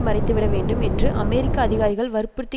மறைத்துவிடவேண்டும் என்று அமெரிக்க அதிகாரிகள் வற்புறுத்தி